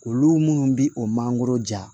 Olu minnu bi o mangoro ja